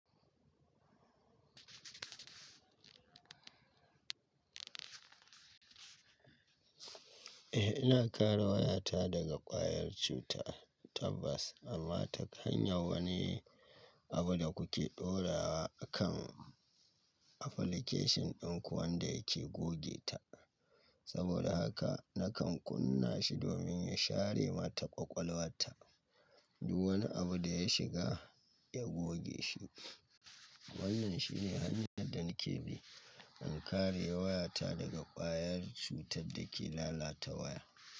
Eh, ina kare wayata daga ƙwayar cuta tabbas amma ta hanyar wani abu da kuke ɗorawa akan application ɗin kuwa wanda yake goge ta. Saboda haka nakan kunna shi domin ya share mata ƙwaƙwalwarta. Duk wani abu da ya shiga, ya goge shi. Wannan shi ne hanyar da nake bi in kare wayata daga ƙwayar cutar da ke lalata waya.